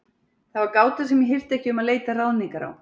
Það var gáta sem ég hirti ekki um að leita ráðningar á.